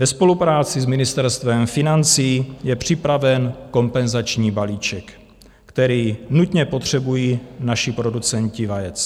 Ve spolupráci s Ministerstvem financí je připraven kompenzační balíček, který nutně potřebují naši producenti vajec.